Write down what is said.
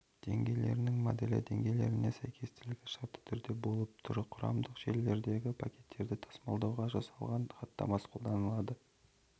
деңгейлерінің моделі деңгейлеріне сәйкестілігі шартты түрде болып тұр құрамдық желілердегі пакеттерді тасымалдауға жасалған хатамасы қолданылады